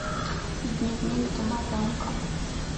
дневник домовенка